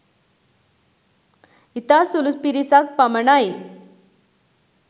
ඉතා සුළු පිරිසක් පමණයි